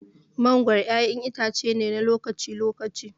Mangoro ƴaƴan itace ne na lokaci-lokaci.